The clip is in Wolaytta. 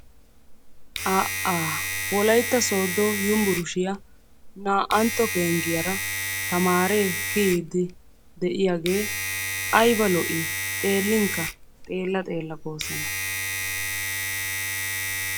Aa'a! Wolytta Sooddo Yunberesttiyaa naa''antto penggiyaara tamaare kiyiid de'iyaagee aybba lo''i! xeellinkka xeella xeella goosona.